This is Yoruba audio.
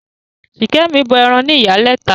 Ṣìkẹ̀mi bọ ẹran ní Ìyálẹta.